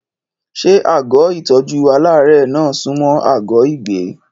Ṣé àgọ́ ìtọ́jú aláàárẹ̀ náà sunmọ́ àgọ́ ìgbé?